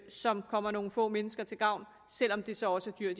som kommer nogle få mennesker til gavn selv om det så også er